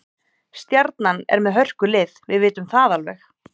Stjarnan er með hörkulið, við vitum það alveg.